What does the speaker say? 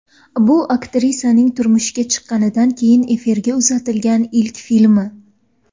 Bu aktrisaning turmushga chiqqanidan keyin efirga uzatilgan ilk filmi.